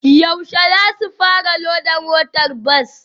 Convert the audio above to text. Yaushe zasu fara loda motar bas?